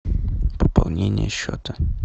пополнение счета